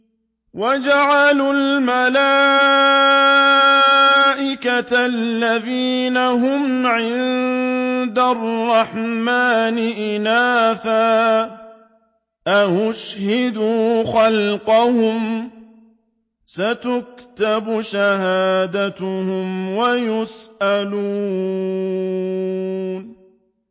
وَجَعَلُوا الْمَلَائِكَةَ الَّذِينَ هُمْ عِبَادُ الرَّحْمَٰنِ إِنَاثًا ۚ أَشَهِدُوا خَلْقَهُمْ ۚ سَتُكْتَبُ شَهَادَتُهُمْ وَيُسْأَلُونَ